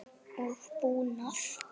og búnað.